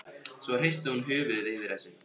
Svo hristir hún höfuðið yfir þessu.